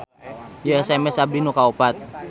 Ieu SMS abdi nu kaopat